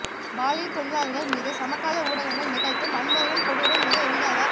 பாலியல் தொழிலாளர்கள் மீது சமகால ஊடகங்கள் நிகழ்த்தும் வன்முறையின் கொடூரம் மிக எளிதாகப்